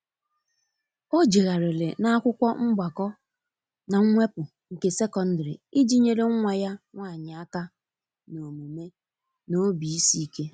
o jeghariri na akwụkwo mgbako n'mwepụ nke sekọndŕị iji nyere nwa ya nwanyi aka n'omume n'obi isi ike.